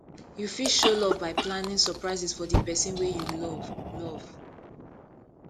you fit show love by planning surprises for di person wey you love love